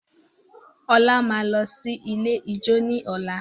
Ola máa lọ sí ilé ijó ní ọ̀la.